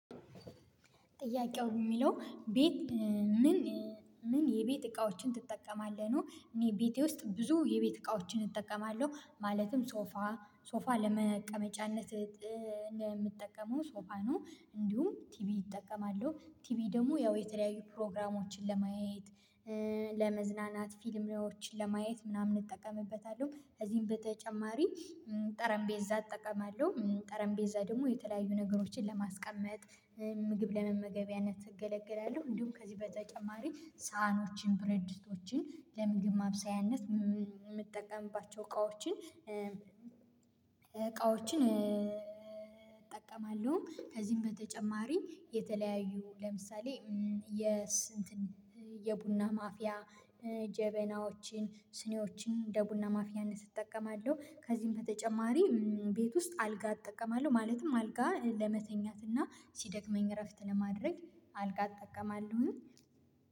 ጥያቄው የሚለው ቤት ምን ምን የቤት እቃዎችን ትጠቀማለህ ነው? እኔ ቤቴ ውስጥ ብዙ የቤት እቃዎችን እጠቀማለሁ። ማለትም ሶፋ ሶፋ ለመቀመጫነት ምጠቀም ሶፋ ነው። እንዲሁም ቲቪ ይጠቀማለሁ ቲቪ ደግሞ ያው የተለያዩ ፕሮግራሞችን ለማየት ለመዝናናት ፊልሞችን ለማየት ምናምን እጠቀምበታለሁ። ከዚህም በተጨማሪ ጠረጴዛ እጠቀማለሁ ጠረጴዛ ደግሞ የተለያዩ ነገሮችን ለማስቀመጥ ምግብ ለመመገቢያነት እገለግላለሁ። እንዲሁም ከዚህ በተጨማሪ ሳህኖችን ብረድስቶችን ለምግብ ማብሰያነት የምጠቀምባቸው እቃዎችን እቃዎችን። ከዚህም በተጨማሪ የተለያዩ ለምሳሌ እንትን የቡና ማፍያ ጀበናዎችን ስኒዎችን እንደ ቡና ማፍያነት እጠቀማለሁ። ከዚህም በተጨማሪ ቤት ውስጥ አልጋ እጠቀማለሁ። ማለትም አልጋ ለመተኛት እና ሲደክመኝ እረፍት ለማድረግ አልጋ እጠቀማለሁኝ